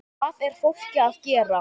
Hvað er fólk að gera?